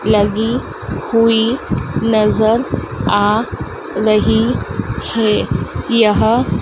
लगी हुई नजर आ रही है यह--